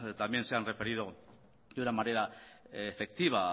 también se han referido de una manera efectiva